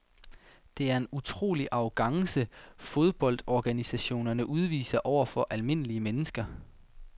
Det er en utrolig arrogance fodboldorganisationerne udviser over for almindelige mennesker.